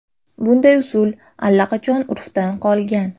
Bunday usul allaqachon urfdan qolgan.